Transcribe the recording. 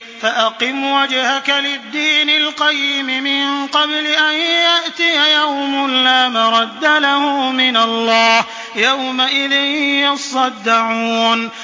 فَأَقِمْ وَجْهَكَ لِلدِّينِ الْقَيِّمِ مِن قَبْلِ أَن يَأْتِيَ يَوْمٌ لَّا مَرَدَّ لَهُ مِنَ اللَّهِ ۖ يَوْمَئِذٍ يَصَّدَّعُونَ